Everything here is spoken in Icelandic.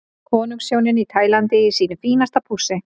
Konungshjónin á Tælandi í sínu fínasta pússi.